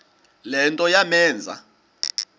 le nto yamenza